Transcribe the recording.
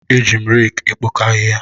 Eji m reeki ekpokọ ahịhịa.